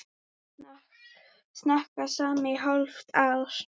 Snakka saman í hálft ár.